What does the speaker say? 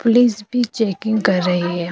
Police भी checking कर रही हैं।